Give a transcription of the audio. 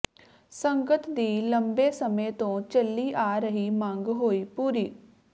ਸੰਗਤ ਦੀ ਲੰਬੇ ਸਮੇਂ ਤੋਂ ਚੱਲੀ ਆ ਰਹੀ ਮੰਗ ਹੋਈ ਪੂਰੀ